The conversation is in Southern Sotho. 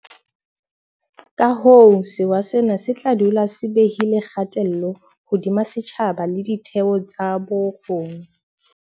Kahoo sewa sena se tla dula se behile kgatello hodima setjhaba le ditheo tsa bo rona.